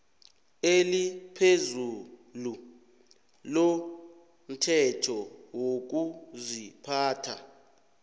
eliphezulu lomthetho wokuziphatha